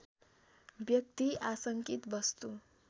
व्यक्ति आसङ्कित वस्तु